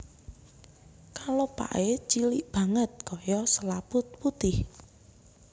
Kelopaké cilik banget kaya selaput putih